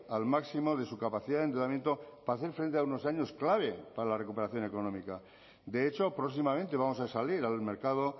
al máximo de su capacidad de endeudamiento para hacer frente a unos años clave para la recuperación económica de hecho próximamente vamos a salir al mercado